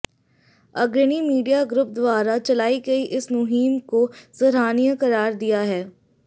अग्रणी media group द्वारा चलाई गई इस मुहिम को सराहनीय करार दिया है